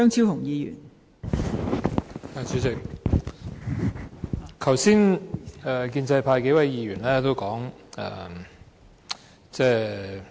代理主席，剛才建制派數位議員先後發言。